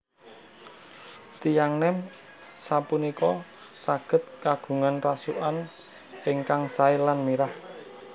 Tiyang nem sapunika saged kagungan rasukan ingkang sae lan mirah